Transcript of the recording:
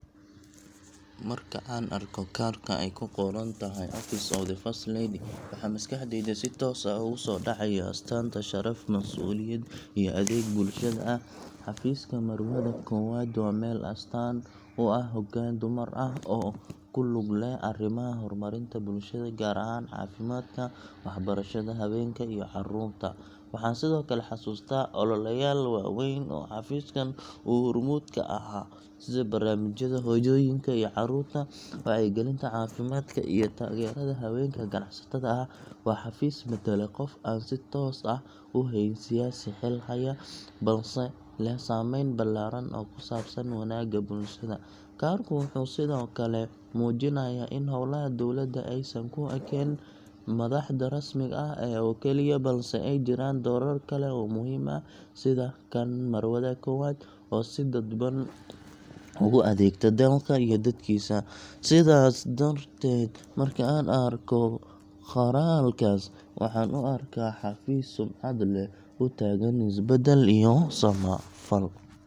Marka aan arko kaarka ay ku qoran tahay Office of the First Lady, waxa maskaxdayda si toos ah ugu soo dhacaya astaanta sharaf, mas’uuliyad, iyo adeeg bulshada ah. Xafiiska Marwada Koowaad waa meel astaan u ah hoggaan dumar ah oo ku lug leh arrimaha horumarinta bulshada – gaar ahaan caafimaadka, waxbarashada, haweenka iyo carruurta. Waxaan sidoo kale xusuustaa ololeyaal waaweyn oo xafiiskan uu hormuud ka ahaa, sida barnaamijyada hooyooyinka iyo carruurta, wacyigelinta caafimaadka, iyo taageerada haweenka ganacsatada ah. Waa xafiis matala qof aan si toos ah u ahayn siyaasi xil haya, balse leh saameyn ballaaran oo ku saabsan wanaagga bulshada. Kaarku wuxuu sidoo kale muujinayaa in howlaha dowladda aysan ku ekaan madaxda rasmiga ah oo keliya, balse ay jiraan doorar kale oo muhiim ah sida kan Marwada Koowaad, oo si dadban ugu adeegta dalka iyo dadkiisa. Sidaas darteed, marka aan arko qoraalkaas, waxaan u arkaa xafiis sumcad leh, u taagan isbeddel iyo samafal.